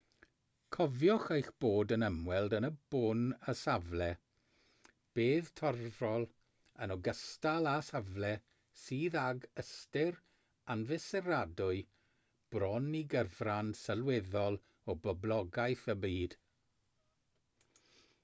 cofiwch eich bod yn ymweld yn y bôn â safle bedd torfol yn ogystal â safle sydd ag ystyr anfesuradwy bron i gyfran sylweddol o boblogaeth y byd